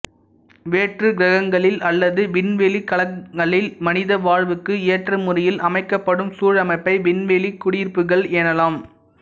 வேற்றுக் கிரகங்களில் அல்லது விண்வெளிக் கலங்களில் மனித வாழ்வுக்கு ஏற்ற முறையில் அமைக்கப்படும் சூழமைப்பை விண்வெளிக் குடியிருப்புக்கள் எனலாம்